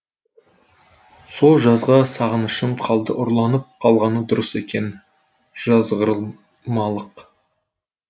сол жазға сағынышым қалды ұрланып қалғаны дұрыс екен жазғырмалық